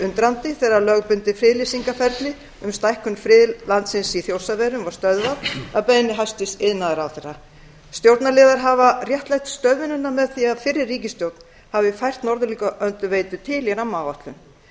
undrandi þegar lögbundið friðlýsingarferli um stækkun friðlandsins í þjórsárverum var stöðvað að beiðni hæstvirts iðnaðarráðherra stjórnarliðar hafa réttlætt stöðvunina með því að fyrri ríkisstjórn hafi færst norðlingaölduveitu til í rammaáætlun